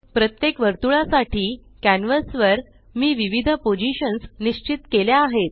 प्रत्येक वर्तुळा साठी कॅन्वस वर मी विविध पोज़िशन्स निश्चित केल्या आहेत